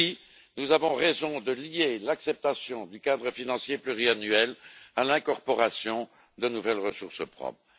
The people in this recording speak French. Oui, nous avons raison de lier l'acceptation du cadre financier pluriannuel à l'incorporation de nouvelles ressources propres.